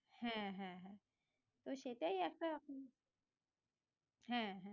হ্যাঁ হ্যাঁ তো সেটাই একটা হ্যাঁ